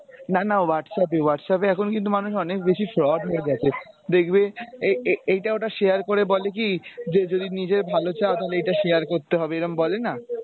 না না Whatsapp এ Whatsapp এ এখন কিন্তু মানুষ অনেক বেশি সৎ হয়ে গেছে দেখবে এ~এইটা ঐটা share করে বলে কী যদি নিজের ভালো চাও তাহলে এইটা share করতে হবে এরম বলে না।